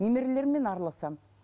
немерелеріммен араласамын